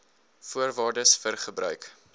voorwaardes vir gebruik